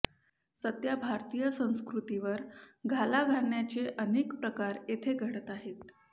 सध्या भारतीय संस्कृतीवर घाला घालण्याचे अनेक प्रकार येथे घडत आहेत